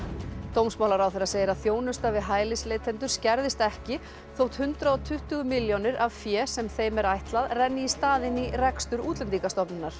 dómsmálaráðherra segir að þjónusta við hælisleitendur skerðist ekki þótt hundrað og tuttugu milljónir af fé sem þeim er ætlað renni í staðinn í rekstur Útlendingastofnunar